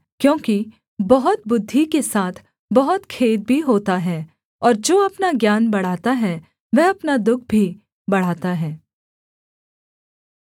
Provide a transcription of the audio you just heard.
क्योंकि बहुत बुद्धि के साथ बहुत खेद भी होता है और जो अपना ज्ञान बढ़ाता है वह अपना दुःख भी बढ़ाता है